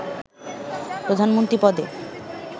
প্রধানমন্ত্রী পদে